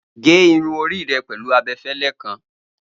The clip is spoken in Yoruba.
Ge irun ori rẹ pẹlu abẹfẹlẹ kan